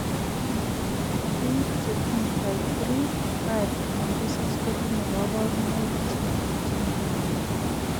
Biik chetinye type 3, 5 anan ko 6 kotinye kaborunoik chemakimen mising